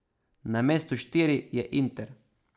Na mestu štiri je Inter.